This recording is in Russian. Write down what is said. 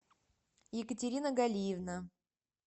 екатерина галиевна